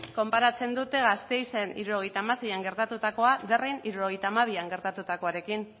konparatzen dute gasteizen hirurogeita hamaseian gertatutakoa derryn hirurogeita hamabian gertatuarekin